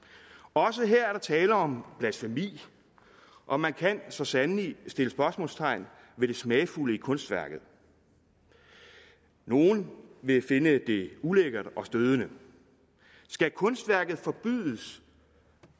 også her er der tale om blasfemi og man kan så sandelig sætte spørgsmålstegn ved det smagfulde i kunstværket nogle vil finde det ulækkert og stødende skal kunstværket forbydes